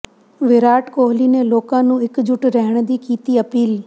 ਵਿਰਾਟ ਕੋਹਲੀ ਨੇ ਲੋਕਾਂ ਨੂੰ ਇਕਜੁੱਟ ਰਹਿਣ ਦੀ ਕੀਤੀ ਅਪੀਲ